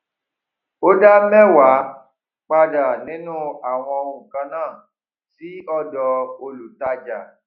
o dá mẹwàá padà nínú àwọn nǹkàn náà sì ọdọ olùtájà